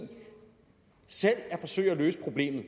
selv at forsøge at løse problemet